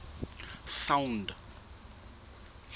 sound